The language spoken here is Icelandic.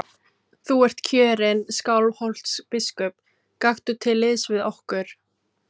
Þú ert kjörinn Skálholtsbiskup, gakktu til liðs við okkur.